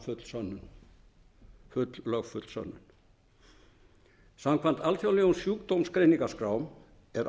fram full sönnun full lögfull sönnun samkvæmt alþjóðlegum sjúkdómsgreiningaskrám er